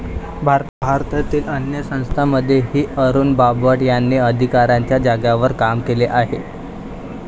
भारतातील अन्य संस्थांमध्येही अरुण बापट यांनी अधिकाराच्या जागांवर काम केले आहे.